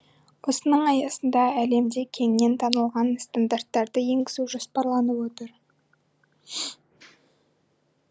осының аясында әлемде кеңінен танылған стандарттарды енгізу жоспарланып отыр